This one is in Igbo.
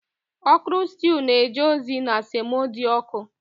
okro stew na-eje ozi na semo dị ọkụ